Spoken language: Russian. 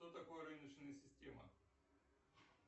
что такое рыночная система